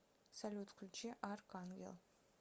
салют включи арк энджел